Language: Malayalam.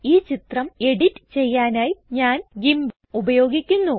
ഈ ചിത്രം എഡിറ്റ് ചെയ്യാനായി ഞാൻ ഗിംപ് ഉപയോഗിക്കുന്നു